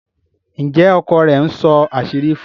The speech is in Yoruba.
Njé ọkọ rẹ̀ nsó àṣírí fún?